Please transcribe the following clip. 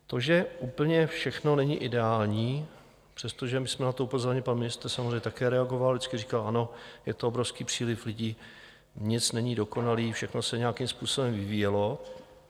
To, že úplně všechno není ideální, přestože my jsme na to upozorňovali - pan ministr samozřejmě také reagoval, vždycky říkal: Ano, je to obrovský příliv lidí, nic není dokonalé, všechno se nějakým způsobem vyvíjelo.